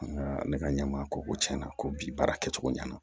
Nka ne ka ɲɛmaa ko ko tiɲɛna ko bi baara kɛcogo ɲɛna